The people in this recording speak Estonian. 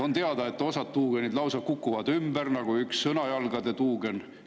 On teada, et osa tuugeneid lausa kukuvad ümber, nagu üks Sõnajalgade tuugen.